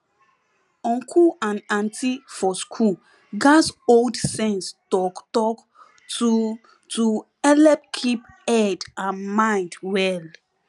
uncle and auntie for school gats hold sense talktalk to to helep keep head and mind well